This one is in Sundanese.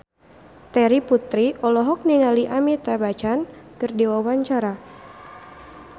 Terry Putri olohok ningali Amitabh Bachchan keur diwawancara